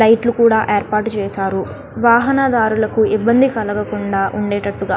లైట్లు కూడా ఏర్పాటు చేసారు వాహన దారులకు ఇబ్బంది కలగకుండా --